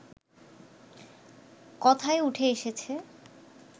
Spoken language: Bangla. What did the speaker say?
কথায় উঠে এসেছে